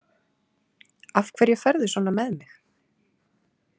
Af hverju ferðu svona með mig?